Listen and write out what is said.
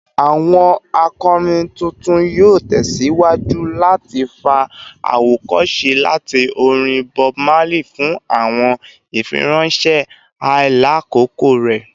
Awọn akọrin tuntun yoo tẹsiwaju lati fa awokose lati orin Bob Marley fun awọn ifiranṣẹ ailakoko rẹ